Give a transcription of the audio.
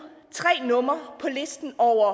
tre numre på listen over